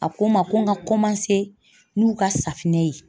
A ko n ma ko n ka n'u ka safinɛ ye.